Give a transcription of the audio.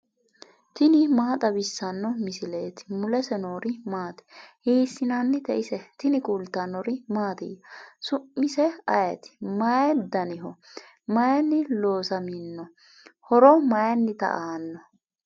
tini maa xawissanno misileeti ? mulese noori maati ? hiissinannite ise ? tini kultannori mattiya? su'misi ayiti? mayi daniho? mayinni loosamminno? horo mayiinnitta aanno?